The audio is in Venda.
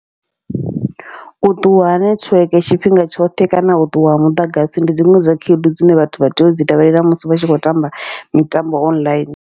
U ṱuwa ha nethiweke tshifhinga tshoṱhe kana u ṱuwa ha muḓagasi, ndi dziṅwe dza khaedu dzine vhathu vha tea u dzi tevhelela musi vha tshi khou tamba mitambo online.